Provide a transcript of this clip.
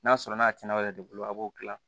N'a sɔrɔ n'a tiɲɛna aw yɛrɛ de bolo a b'o dilan